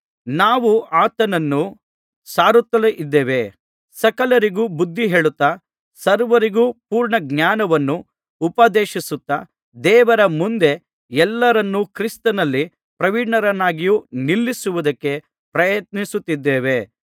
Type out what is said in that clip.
ನಾವು ಆತನನ್ನು ಸಾರುತ್ತಲಿದ್ದೇವೆ ಸಕಲರಿಗೂ ಬುದ್ಧಿ ಹೇಳುತ್ತಾ ಸರ್ವರಿಗೂ ಪೂರ್ಣಜ್ಞಾನವನ್ನು ಉಪದೇಶಿಸುತ್ತಾ ದೇವರ ಮುಂದೆ ಎಲ್ಲರನ್ನೂ ಕ್ರಿಸ್ತನಲ್ಲಿ ಪ್ರವೀಣರನ್ನಾಗಿ ನಿಲ್ಲಿಸುವುದಕ್ಕೆ ಪ್ರಯತ್ನಿಸುತ್ತಿದ್ದೇವೆ